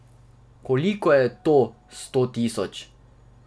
Koliko je to, sto tisoč?